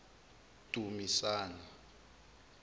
dumisane